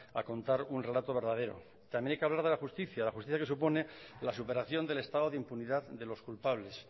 a contar un relato verdadero también hay que hablar de la justicia la justicia que supone la superación del estado de impunidad de los culpables